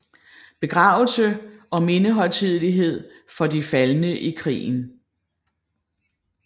Begravelse og mindehøjtidelighed for de faldne i krigen